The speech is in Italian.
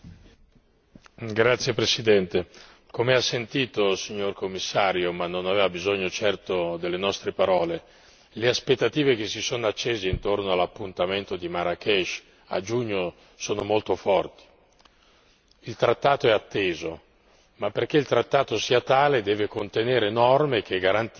Signor Presidente, onorevoli colleghi, come ha sentito signor Commissario, ma non aveva certo bisogno delle nostre parole, le aspettative che si sono accese intorno all'appuntamento di Marrakech a giugno sono molto forti. Il trattato è atteso, ma perché il trattato sia tale deve contenere norme che garantiscano